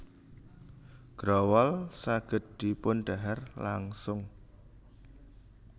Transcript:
Growol saged dipundhahar langsung